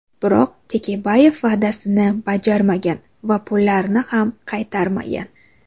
Biroq Tekebayev va’dasini bajarmagan va pullarni ham qaytarmagan.